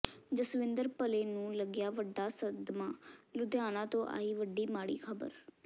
ਜਸਵਿੰਦਰ ਭੱਲੇ ਨੂੰ ਲੱਗਿਆ ਵੱਡਾ ਸਦਮਾ ਲੁਧਿਆਣਾ ਤੋਂ ਆਈ ਵੱਡੀ ਮਾੜੀ ਖ਼ਬਰ